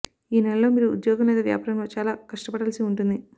ఈ నెలలో మీరు ఉద్యోగం లేదా వ్యాపారంలో చాలా కష్టపడాల్సి ఉంటుంది